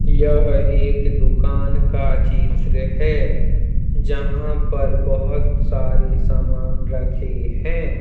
यह एक दुकान का चित्र है। जहां पर बहोत सारे सामान रखे हैं।